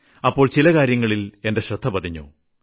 അപ്പോൾ ചില കാര്യങ്ങളിൽ എന്റെ ശ്രദ്ധ പതിഞ്ഞു